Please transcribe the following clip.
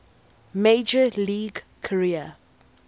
major league career